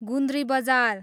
गुन्द्री बजार